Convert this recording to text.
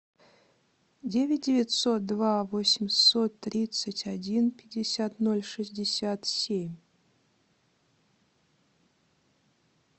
девять девятьсот два восемьсот тридцать один пятьдесят ноль шестьдесят семь